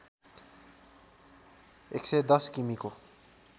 ११० किमि को